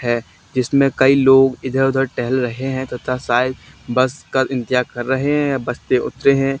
है जिसमें कई लोग इधर उधर टहल रहे हैं तथा शायद बस का इंतजार कर रहे हैं बस से उतरे हैं।